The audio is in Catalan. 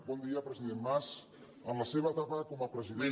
bon dia president mas en la seva etapa com a president